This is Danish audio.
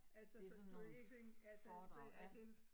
Det sådan nogle foredrag ja